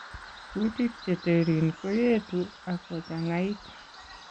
Kuutik cheteerin koyeetu ak kochangait